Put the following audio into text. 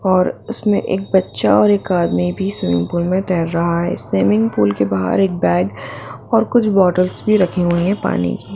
और इसमें एक बच्चा और एक आदमी भी स्विमिंग पूल में तैर रहा है स्विमिंग पूल के बाहर एक बैग और कुछ बॉटल्स भी रखे हुए हैं पानी की।